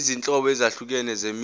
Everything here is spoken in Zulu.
izinhlobo ezahlukene zemisho